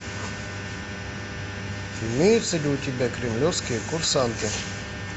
имеется ли у тебя кремлевские курсанты